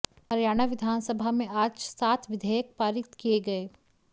हरियाणा विधानसभा में आज सात विधेयक पारित किये गए